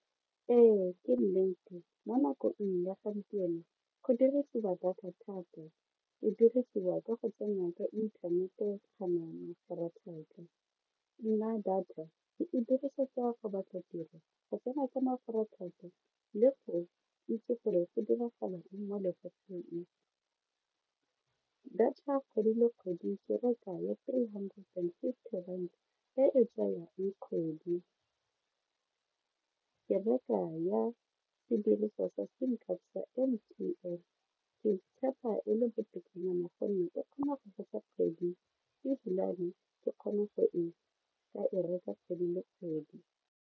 Ee ke nnete mo nakong ya gompieno go dirisiwa data thata, e dirisiwa ka go tsena ka inthanete mafaratlhatlha, nna data ke e dirisetsa go batla tiro go tsena ka mafaratlhatlha le go itse gore go diragala eng mo lefatsheng. Data kgwedi le kgwedi ke reka ya three hundred and fifty rand e e tsayang kgwedi, ke reka ya sediriswa sa sim card sa M_T_N ke tshepa e le botokanyana gonne e kgona go fetsa kgwedi ebilane ke kgone go ka e reka kgwedi le kgwedi.